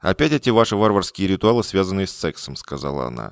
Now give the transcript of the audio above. опять эти ваши варварские ритуалы связанные с сексом сказала она